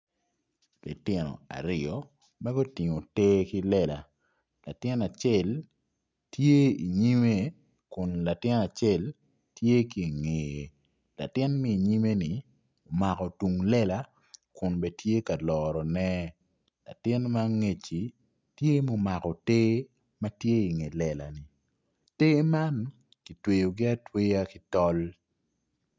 Litino aryo ma gutingo te ki lela latin acel inyime kun latin acel tye ki ingeye latin ma inyime-ni omako tung lela kun bene tye ka lorone latin ma angec-ci omako te ma tye inge lela te man kitweyogi atweya ki tol.